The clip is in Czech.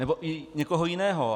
Nebo i někoho jiného.